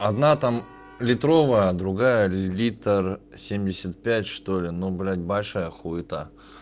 одна там литровая другая литр семьдесят пять что-ли ну блядь большая хуета